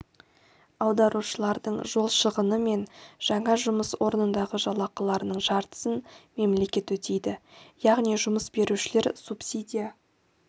аударушылардың жол шығыны мен жаңа жұмыс орнындағы жалақыларының жартысын мемлекет өтейді яғни жұмыс берушілер субсидия